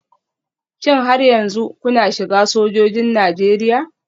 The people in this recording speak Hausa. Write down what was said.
Shin har yanzu kuna shiga sojojin Najeriya?